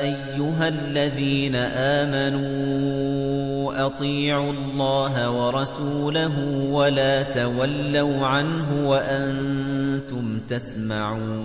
أَيُّهَا الَّذِينَ آمَنُوا أَطِيعُوا اللَّهَ وَرَسُولَهُ وَلَا تَوَلَّوْا عَنْهُ وَأَنتُمْ تَسْمَعُونَ